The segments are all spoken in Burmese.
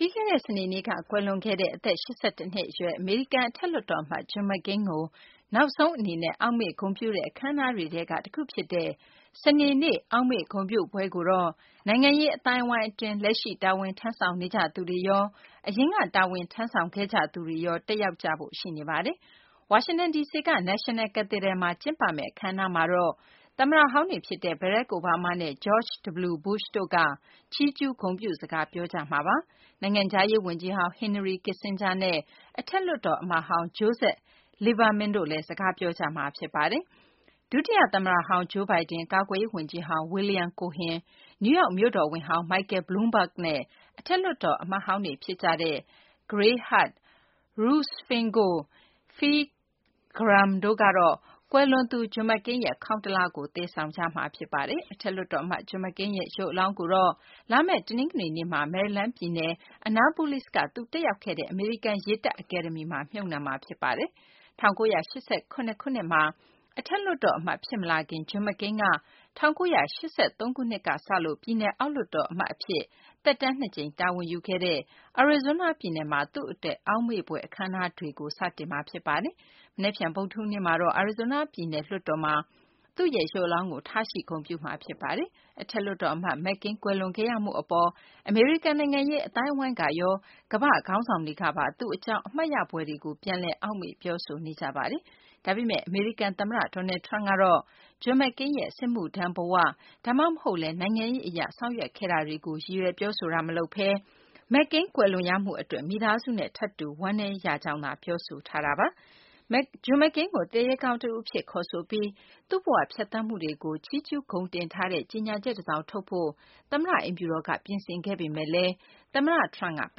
ပြီးခဲ့တဲ့ စနေနေ့က ကွယ်လွန်ခဲ့တဲ့ အသက် ၈၁ နှစ်အရွယ် အမေရိကန် အထက်လွှတ်တော် အမတ် John McCain ကို နောက်ဆုံး အနေနဲ့ အောက်မေ့ ဂုဏ်ပြုတဲ့ အခမ်းအနားတွေထဲက တခုဖြစ်တဲ့ စနေနေ့ အောက်မေ့ဂုဏ်ပြုပွဲကိုတော့ နိုင်ငံရေး အသိုင်းအဝိုင်းအတွင်း လက်ရှိ တာဝန်ထမ်းဆောင်နေကြသူတွေရော၊ အရင်က တာဝန်ထမ်းဆောင်သူတွေရော လာရောက်ကြဖို့ ရှိနေပါတယ်။ ဝါရှင်တန် ဒီစီက National Cathedral မှာ ကျင်းပမယ့် အခမ်းအနားမှာတော့ သမ္မတဟောင်းတွေ ဖြစ်ကြတဲ့ ဘရက်ခ် အိုဘားမားနဲ့ ဂျော့ချ်ဒဗလျူဘုရှ်တို့က ချီးကျူးဂုဏ်ပြုစကား ပြောကြမှာပါ။ နိုင်ငံခြားရေး ဝန်ကြီးဟောင်း Henry Kissinger နဲ့ အထက်လွှတ်တော်အမတ်ဟောင်း Joseph Lieberman တို့လည်း စကားပြောကြမှာပါ။ ဒုတိယ သမ္မတဟောင်း Joe Biden၊ ကာကွယ်ရေး ဝန်ကြီးဟောင်း William Cohen ၊ နယူးယောက် မြို့တော်ဝန်ဟောင်း Michael Bloomberg နဲ့ အထက်လွှတ်တော် အမတ်ဟောင်းတွေ ဖြစ်တဲ့ Gary Hart၊ Russ Feingold၊ Phil Gramm တို့က ကွယ်လွန်သူ John McCain ရဲ့ ခေါင်းတလားကို သယ်ဆောင်ကြမှာပါ။ အထက်လွှတ်တော် အမတ် John McCain ရဲ့ ရုပ်အလောင်းကိုတော့ လာမယ့် တနင်္ဂနွေနေ့မှာ မေရီလန်း ပြည်နယ် Annapolis က သူတက်ရောက်ခဲ့တဲ့ အမေရိကန် ရေတပ် အကယ်ဒမီမှာ မြှပ်နှံမှာ ဖြစ်ပါတယ်။ ၁၉၈၇ ခုနှစ်မှာ အထက်လွှတ်တော် အမတ် ဖြစ်မလာခင်မှာ John McCain က ၁၉၈၃ ခုနှစ်မှာ ပြည်နယ် အောက်လွှတ်တော် အမတ် အဖြစ် သက်တမ်းနှစ်ကြိမ် တာဝန်ယူခဲ့တဲ့ Arizona ပြည်နယ်မှာ သူ့အတွက် အောက်မေ့ဖွယ် အခမ်းအနားတွေကို စတင်မှာ ဖြစ်ပါတယ်။ မနက်ဖြန် ဗုဒ္ဓဟူးနေ့မှာတော့ Arizona ပြည်နယ် လွှတ်တော်မှာ သူ့ရဲ့ ရုပ်အလောင်းကို ထားရှိ ဂုဏ်ပြုမှာ ဖြစ်ပါတယ်။ အထက်လွှတ်တော် အမတ် McCain ကွယ်လွန်ခဲ့ရမှု အပေါ် အမေရိကန် နိုင်ငံရေး အသိုင်းအဝိုင်းကရော ကမ္ဘာ့ခေါင်းဆောင်တွေကပါ သူ့အကြောင်း အမှတ်ရဖွယ်တွေကို ပြန်လည် အောက်မေ့ ပြောဆိုနေကြပါတယ်။ ဒါပေမယ့် အမေရိကန် သမ္မတ Donald Trump ကတော့ John McCain ရဲ့ စစ်မှုထမ်းဘ၀ ဒါမှမဟုတ်လည်း နိုင်ငံရေး အရ ဆောင်ရွက်ခဲ့မှုတွေကို ရည်ရွယ်ပြောဆိုတာ မလုပ်ဘဲ McCain ကွယ်လွန်ရမှု အတွက် မိသားစုနဲ့ ထပ်တူ ဝမ်းနည်းရကြောင်းသာ ပြောခဲ့တာပါ။ John McCain ကို သူရဲကောင်း တဦးအဖြစ် ခေါ်ဆိုပြီး သူ့ဘ၀ ဖြတ်သန်းမှုတွေကို ချီးကျူးဂုဏ်တင်ထားတဲ့ ကြေညာချက် တစောင်ထုတ်ဖို့ သမ္မတ အိမ်ဖြူတော်က ပြင်ဆင်ခဲ့ပေမယ့်လည်း သမ္မတ Trump က ပ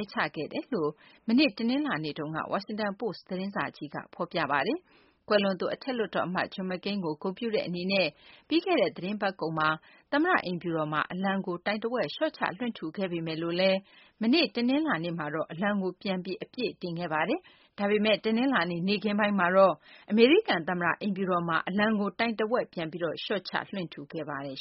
ယ်ချခဲ့တယ်လို့လည်း မနေ့ တနလာၤနေ့မှာ Washington Post သတင်းစာကြီးက ဖော်ပြပါတယ်။ ကွယ်လွန်သူ အထက်လွှတ်တော် အမတ် John McCain ကို ဂုဏ်ပြုတဲ့ အနေနဲ့ ပြီးခဲ့တဲ့ သတင်းပတ်ကုန်မှာ သမ္မတ အိမ်ဖြူတော်မှာ အလံကို တိုင်တဝက် လျှော့ချ လွှင့်ထူခဲ့ပေမယ့် မနေ့ တနလာၤနေ့မှာတော့ အလံကို ပြန်ပြီး အပြည့်တင်ခဲ့ပါတယ်။ ဒါပေမယ့် တနလာၤနေ့ နေ့ခင်းပိုင်းမှာတော့ အမေရိကန် သမ္မတ အိမ်ဖြူတော်မှာ အလံကို တိုင်တဝက်ကို ပြန်ပြီး လျှော့ချ လွှင့်ထူခဲ့ပါတယ်